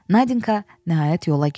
Nadinka nəhayət yola gəlir.